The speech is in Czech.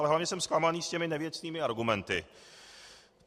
Ale hlavně jsem zklamaný z těch nevěcných argumentů.